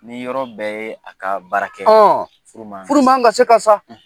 Ni yɔrɔ bɛɛ ye a ka baara kɛ, . Furu man kan , furu man kan ka se ka sa.